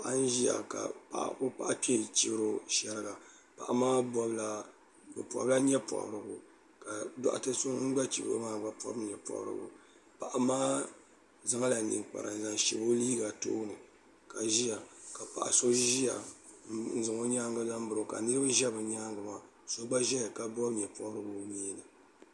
paɣa n Ziya ka o paɣi maa chibiro sheriga paɣa maa pola nyɔɛ pobiriku ka dotɛɛ so ŋun gna chibiro maa gba pobi nyu pobiriku paɣa maa zanla ninkpara n zan shɛbi o liiha tooni ka ziya ka paɣa so n zan o nyaaŋa zan biro ka niriba zɛ o nyaaŋa maa so gba zɛya la pobi nyɛpobiriku